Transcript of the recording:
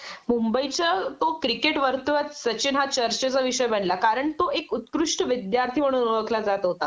मुंबईच्या तो क्रिकेटवर्तुळात सचिन हा चर्चेचा विषय बनला कारण तो एक उत्कृष्ट विद्यार्थी म्हणून ओळखला जात होता